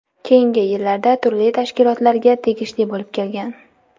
Keyingi yillarda turli tashkilotlarga tegishli bo‘lib kelgan.